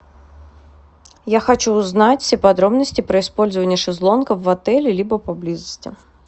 я хочу узнать все подробности про использование шезлонгов в отеле либо поблизости